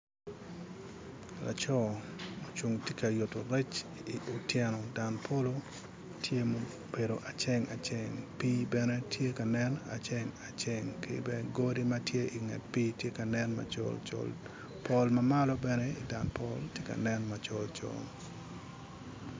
Laco ocung tye ka yuto rec I otyeno dan polo tye ma obedo aceng aceng pii bene tye ka nen aceng aceng ki bene odi ma tye inget pii tye ka nen macol col pol ma malo bene I dan polo tye ka nen macol col